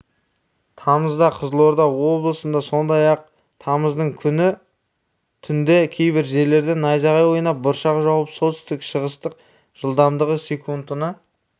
тамызда қызылорда облысында сондай-ақ тамыздың күні түнде кейбір жерлерде найзағай ойнап бұршақ жауып солтүстік-шығыстық жылдамдығы секундына